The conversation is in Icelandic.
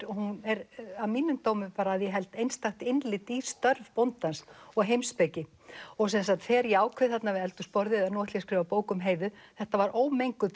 og hún er að mínum dómi að ég held einstakt innlit í störf bóndans og heimspeki þegar ég ákveð við eldhúsborðið nú ætla ég að skrifa bók um Heiðu þetta var ómenguð